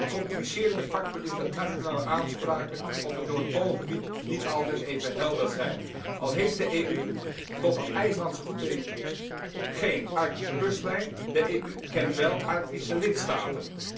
Een complicerende factor is dat nationale aanspraken op het Noordpoolgebied niet altijd even helder zijn, al heeft de EU tot aan IJslands toetreding geen Arctische kustlijn, de EU kent wel Arctische lidstaten.